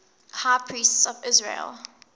high priests of israel